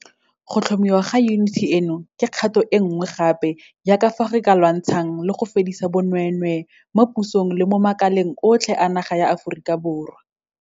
Go tlhomiwa ga yuniti eno ke kgato e nngwe gape ya ka fao re lwantshanang le go fedisa bonweenwee mo pusong le mo makaleng otlhe a naga ya Aforika Borwa.